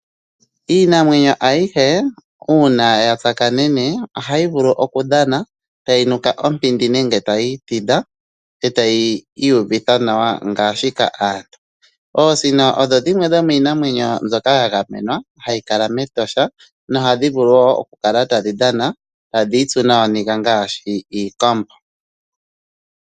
Iinamwenyo ayihe uuna ya tsakanene ohayi vulu okudhana tayi nuka ompindi nenge tayi itidha e tayi iyuvitha nawa ngaashika aantu. Oosino odho dhimwe dhomiinamwenyo mbyoka ya gamenwa hayi kala mEtosha nohadhi vulu wo okukala tadhi dhana tadhi itsu nooniga ngaashi iikombo.